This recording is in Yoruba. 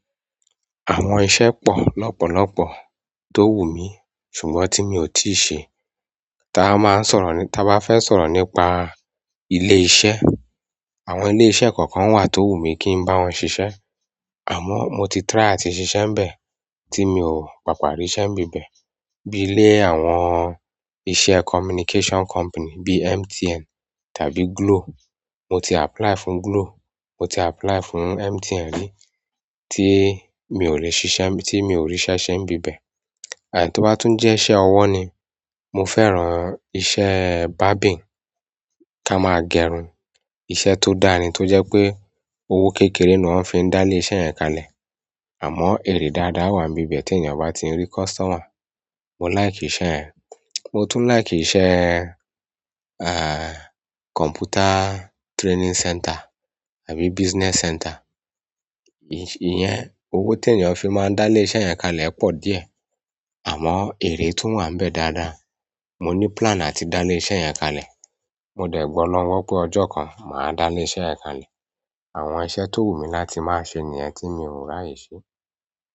Àwọn iṣẹ́ pọ̀ lọ́pọ̀lọ́pọ̀ tó wù mí ṣùgbọ́n tí mi ò tíì ṣe. Taa máa ń sọ̀rọ̀ ní, táa bá fẹ́ sọ̀rọ̀ nípa ilé iṣẹ́. Àwọn ilé iṣẹ́ kọ̀ọ̀kan wà tó wu mí kí n bá wọn ṣiṣẹ́. Àmọ́ mo ti "try" àti ṣiṣẹ́ nbẹ̀ tí mi ò papà rí iṣẹ́ ń bí bẹ̀. Bi àwọn iṣẹ́ "comminication company" bi "MTN" tàbí "glo" mo ti "apply" fún "Glo", mo ti apply fún "MTN" rí, tí mi ò rí ṣiṣẹ́, tí mi ò rí iṣẹ́ ṣẹ́ ń bí bẹ̀. Àìní tó bá tún jẹ́ iṣẹ́ ọwọ́ ni. Mo fẹ́ràn iṣẹ́ "barbing" ká máa gerun. Iṣẹ́ tó dá ni tó jẹ́ pé owó kékeré ni wọ́n fi ń dá lé iṣẹ́ yẹn kalẹ̀. Àmọ́ ère dáadáa wà nbibẹ̀ tí ènìyàn bá ti ń rí "customer". Mo laiki isẹ̀ yen. Mo tún laiki iṣẹ́, "computer training center" àbí business center. Ìyẹn owó tí èeyàn fi máa ń dá lé iṣẹ́ yẹn kalẹ̀ po díẹ̀. Àmọ́ èrè tún wà níbẹ̀ dáadáa. Mo ní "plan" àti dá ilé iṣẹ́ yẹn kalẹ̀. Mo de gbolorun gbo pe ojo kan ma da ile iṣẹ́ yen kalẹ̀. Àwọn iṣẹ́ tó wù mí láti máa ṣe nìyẹn tí mi ò rà ye ṣe.